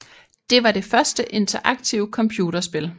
Det var det første interaktive computerspil